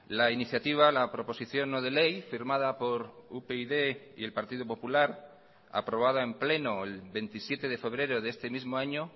la iniciativa la proposición no de ley firmada por upyd y el partido popular aprobada en pleno el veintisiete de febrero de este mismo año